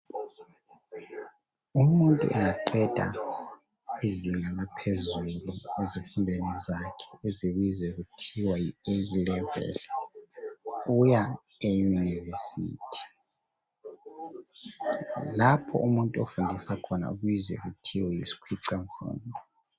Umuntu angaqeda izinga laphezulu ezifundweni zakhe ezibizwa kuthiwa yi eyi leveli uya eYunivesithi, lapho umuntu ofundisa khona ubizwa kuthiwe yisikhwicamfundo.